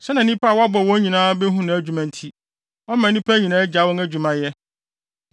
Sɛnea nnipa a wabɔ wɔn nyinaa behu nʼadwuma nti, ɔma nnipa nyinaa gyae wɔn adwumayɛ.